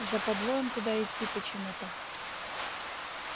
западло им туда идти почему-то